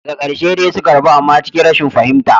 Daga karshe dai suka rabu amma cikin rashin fahimta.